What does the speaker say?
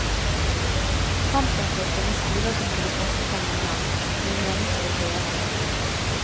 Kampen for å finne skoler som kunne passe for henne, noe meningsfylt å gjøre.